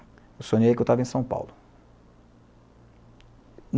Eu sonhei que eu estava em São Paulo.